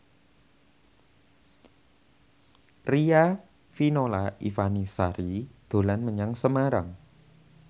Riafinola Ifani Sari dolan menyang Semarang